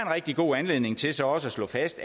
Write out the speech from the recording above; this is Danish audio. rigtig god anledning til så også at slå fast